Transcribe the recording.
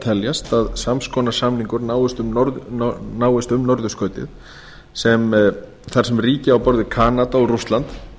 teljast að sams konar samningur náist um norðurskautið þar sem ríki á borð við kanada og rússland